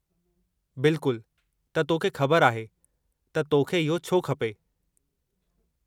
बिल्कुल, त तोखे ख़बरु आहे त तोखे इहो छो खपे।